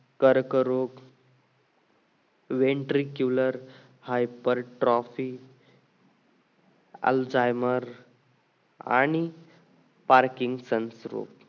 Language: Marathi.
कर्क रोग ventricular hypertrophy ELZHEIMER आणि parking संस्कृत